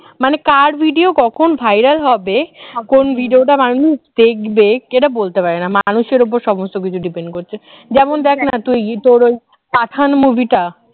মানে কার video কখন viral হবে কোন video টা মানুষ দেখবে এটা বলতে পারেনা মানুষের উপরে সমস্ত কিছু depend করছে যেমন দেখ না তুই তোর ওই পাঠান movie টা